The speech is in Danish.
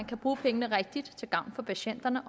kan bruge pengene rigtigt til gavn for patienterne